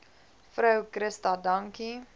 vrou christa dankie